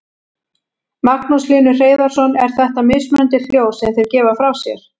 Magnús Hlynur Hreiðarsson: Eru þetta mismunandi hljóð sem þeir gefa frá sér?